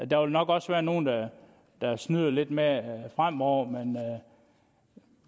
der vil nok også være nogle der snyder lidt med det fremover men